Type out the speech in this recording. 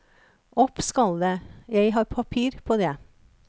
Opp skal det, jeg har papir på det.